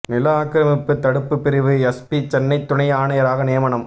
நில ஆக்கிரமிப்பு தடுப்பு பிரிவு எஸ்பி சென்னை துணை ஆணையராக நியமனம்